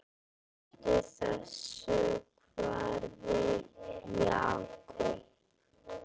Hættu þessu þvaðri, Jakob.